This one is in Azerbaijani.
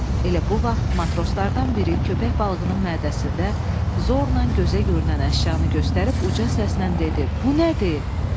Elə bu vaxt matroslardan biri köpək balığının mədəsində zorla gözə görünən əşyanı göstərib uca səslə dedi: "Bu nədir?"